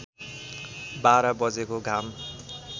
बाह्र बजेको घाम